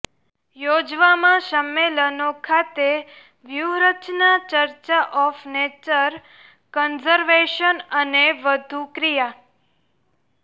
યોજવામાં સંમેલનો ખાતે વ્યૂહરચના ચર્ચા ઓફ નેચર કન્ઝર્વેશન અને વધુ ક્રિયા